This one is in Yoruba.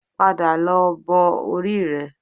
Padà lọ bọ orí rẹ